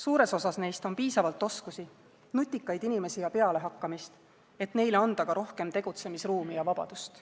Suures osas neist on piisavalt oskusi, nutikaid inimesi ja pealehakkamist, et neile anda ka rohkem tegutsemisruumi ja -vabadust.